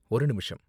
ஒரு நிமிஷம்.